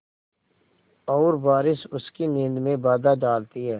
और बारिश उसकी नींद में बाधा डालती है